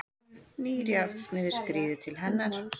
Nýr járnsmiður skríður til hennar.